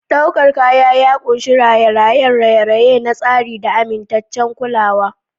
Ɗaukar kaya ya ƙunshi raye-rayen raye-raye na tsari da amintaccen kulawa.